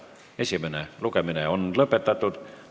Esimene lugemine on lõpetatud.